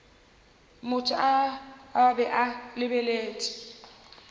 motho a be a lebeletše